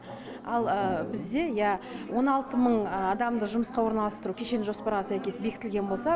ал бізде иә он алты мың адамды жұмысқа орналастыру кешенді жоспарға сәйкес бекітілген болса